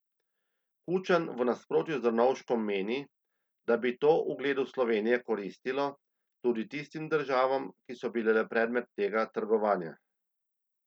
Kučan v nasprotju z Drnovškom meni, da bi to ugledu Slovenije koristilo, tudi tistim državam, ki so bile predmet tega trgovanja.